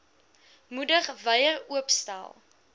moedig wyer oopstel